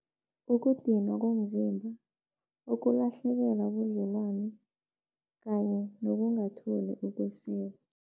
Ukudinwa komzimba, ukulahlekelwa ubudlelwano kanye nokungatholi ukwesekwa.